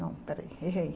Não, peraí, errei.